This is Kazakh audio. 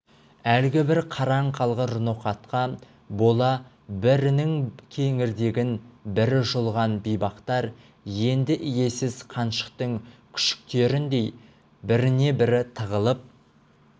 әлгі бір қараң қалғыр қара ноқатқа бола бірінің кеңірдегін бірі жұлған бейбақтар енді иесіз қаншықтың күшіктеріндей біріне-бірі тығылып